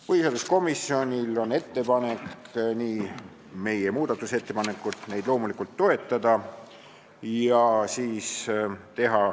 Põhiseaduskomisjonil on loomulikult ettepanek, et te meie muudatusettepanekuid toetaksite.